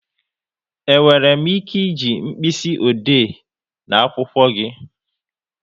E nwere m ike e ji mkpịsị ode na akwụkwọ gị?